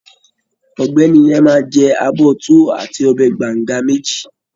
Ọ̀gbẹ́ni yẹn máa jẹ abọ́ Tuwo àti ọbẹ̀ banga méjì